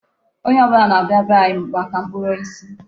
Onye ọbụla na-abịa be anyị maka mkpụrụ osisi.